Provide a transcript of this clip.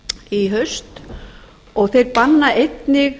í haust og þeir banna einnig